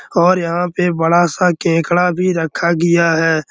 और यहाँ पे बड़ा सा केकड़ा भी रखा गया है।